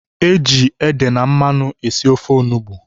Eji ede na mmanụ esi ofe onugbu.